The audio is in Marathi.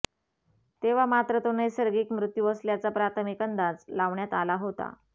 तेव्हा मात्र तो नैसर्गिक मृत्यू असल्याचा प्राथमिक अंदाज लावण्यात आला होता